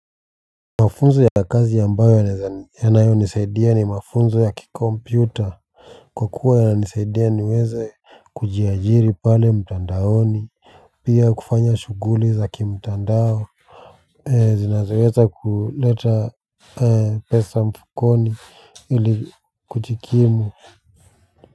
Mafunzo ya kazi ambayo yanayonisaidia ni mafunzo ya kikompyuta kwa kuwa yananisaidia niweze kujiajiri pale mtandaoni pia kufanya shughuli za kimtandao zinazoweza kuleta pesa mfukoni ili kujikimu.